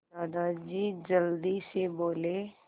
दादाजी जल्दी से बोले